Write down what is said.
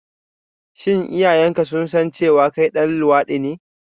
Shin iyayenka sun san cewa kai ɗan luwaɗi ne?